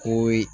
Ko ye